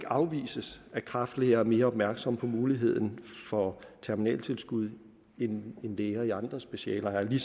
afvises at kræftlæger er mere opmærksomme på muligheden for terminaltilskud end læger i andre specialer er det